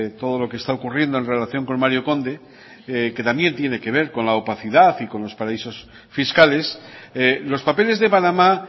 todo lo que está ocurriendo en relación con mario conde que también tiene que ver con la opacidad y con los paraísos fiscales los papeles de panamá